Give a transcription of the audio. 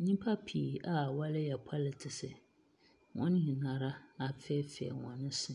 Nnipa pii a wɔreyɛ pɔlitiks. Wɔn nyinaa ara afeefee wɔn se.